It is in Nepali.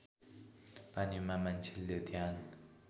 पानीमा मान्छेले ध्यान